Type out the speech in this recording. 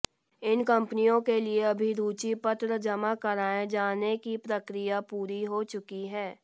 इन कंपनियों के लिए अभिरुचि पत्र जमा कराए जाने की प्रक्रिया पूरी हो चुकी है